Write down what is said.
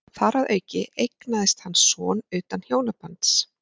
þar að auki eignaðist hann son utan hjónabands